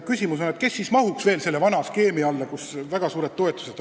Küsimus on, kes siis mahuks veel selle vana skeemi alla, kus on väga suured toetused.